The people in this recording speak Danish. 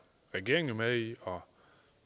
regeringen med i og